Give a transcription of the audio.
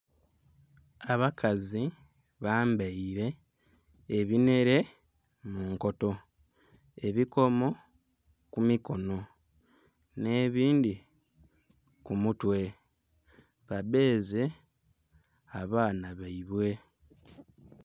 Abakazi bambaire ebinhere mu nkoto, ebikomo ku mikono nhe bindhi ku mutwe ba bedhye abaana bwaibwe.